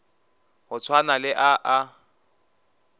go swana le a a